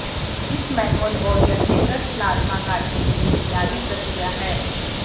इस मैनुअल और यंत्रीकृत प्लाज्मा काटने के लिए बुनियादी प्रक्रिया है